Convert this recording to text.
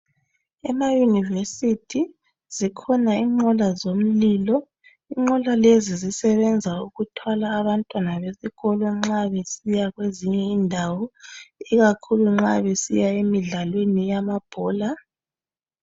Ema yunivesithi zikhona inqola zomlilo, inqola lezi zisebenza ukuthwala abantwana besikolo nxa besiya kwezinye indawo, ikakhulu nxa besiya emidlalweni yamabhola.